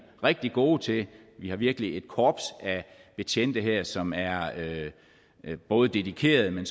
rigtig gode til vi har virkelig et korps af betjente her som er både dedikerede men